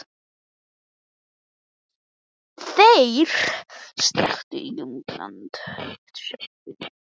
ÞEIR strekktu til útlanda til að vera hamingjusamir.